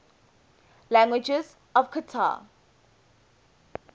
languages of qatar